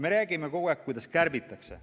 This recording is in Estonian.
Me räägime kogu aeg, kuidas kärbitakse.